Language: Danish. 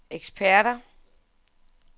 eksperter